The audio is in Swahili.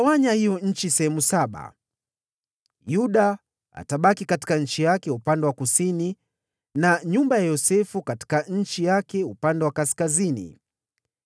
Mtaigawanya hiyo nchi katika sehemu saba. Yuda atabaki katika eneo lake upande wa kusini na nyumba ya Yosefu katika nchi yake upande wa kaskazini.